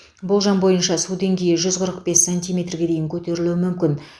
болжам бойынша су деңгейі жүз қырық бес сантиметрге дейін көтерілуі мүмкін